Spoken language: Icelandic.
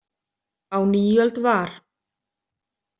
Á nýöld var.